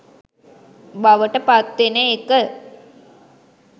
බවට පත්වෙන එක.